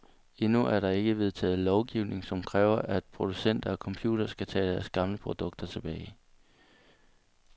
Endnu er der ikke vedtaget lovgivning, som kræver, at producenter af computere skal tage deres gamle produkter tilbage.